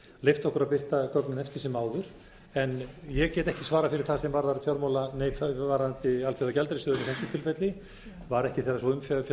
leyft okkur að birta gögnin eftir sem áður en ég get ekki svarað fyrir það sem varðar alþjóðagjaldeyrissjóðinn í þessu tilfelli var ekki þegar sú umfjöllun átti